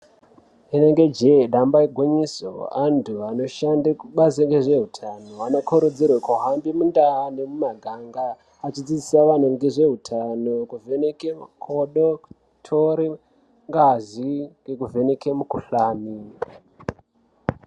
Inenge jee damba igwinyiso, antu anoshanda kubazo rezveutano vanokurudzirwe kuhambe mundau nemumaganga achidzidzisa vantu ngezveutano kuvheneke makodo, kutore ngazi nekuvheneke mikhuhlani.